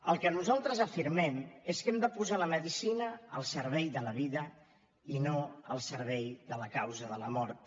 el que nosaltres afirmem és que hem de posar la medicina al servei de la vida i no al servei de la causa de la mort